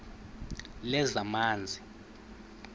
lezamanzi